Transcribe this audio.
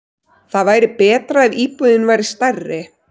Það væri betra ef íbúðin væri stærri.